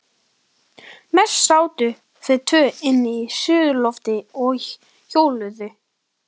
Mest sátu þau tvö inni á suðurlofti og hjöluðu.